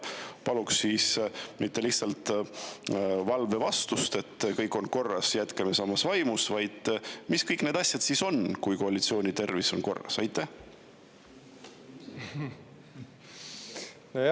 Paluks mitte lihtsalt valvevastust, et kõik on korras, jätkame samas vaimus, vaid mis on kõik need asjad, koalitsiooni tervis on korras.